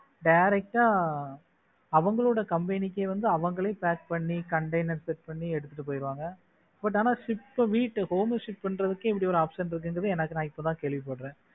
direct ஆ அவங்களோட company க்கு அவங்களே pack பண்ணி container set பண்ணி எடுத்துட்டு போயிடுவாங்க but ஆனா ship வீட்ட home shift பண்றதுக்கு இப்படி ஒரு option இருக்கின்றது எனக்கு நான் இப்பதான் கேள்விப்படுறேன்.